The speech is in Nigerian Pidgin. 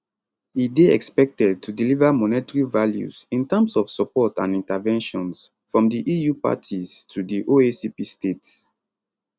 e dey expected to deliver monetary values in terms of support and interventions from di eu parties to di oacp states